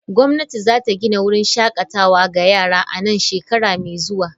Gwamnati za ta gina wurin shakatawa ga yara a nan shekara mai zuwa.